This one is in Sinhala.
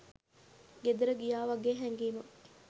ගෙදර ගියා වගේ හැඟීමක්.